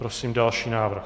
Prosím další návrh.